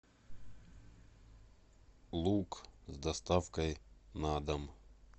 лук с доставкой на дом